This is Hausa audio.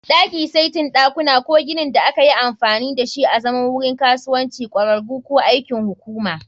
Daki, saitin ɗakuna, ko ginin da aka yi amfani da shi azaman wurin kasuwanci, ƙwararru, ko aikin hukuma